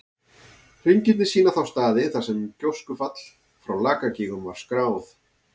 Hringirnir sýna þá staði þar sem gjóskufall frá Lakagígum var skráð.